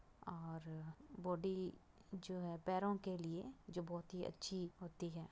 और बॉडी जो है पैरों के लिए जो बोहत ही अच्छी होती है।